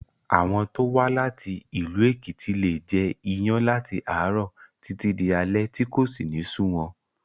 Àwọn tó wá láti ìlú Èkìtì leè jẹ iyán láti àárọ̀ títí di alé tí kò sì ní sú wọn